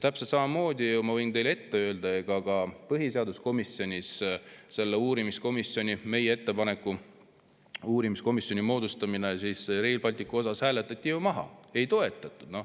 Täpselt samamoodi – ma võin ju teile seda ette öelda – põhiseaduskomisjonis selle uurimiskomisjoni moodustamine, meie ettepanek moodustada Rail Balticu uurimiseks komisjon, hääletati maha, seda ei toetatud.